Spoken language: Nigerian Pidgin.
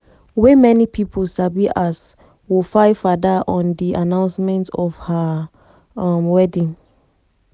wey many pipo sabi as wofaifada on di announcement of her wedding.